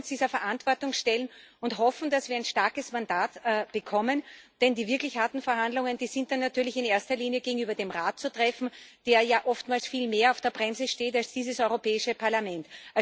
Und wir wollen uns dieser Verantwortung stellen und hoffen, dass wir ein starkes Mandat bekommen. Denn die wirklich harten Verhandlungen sind natürlich in erster Linie gegenüber dem Rat zu führen, der ja oftmals viel mehr auf der Bremse steht als dieses Europäische Parlament.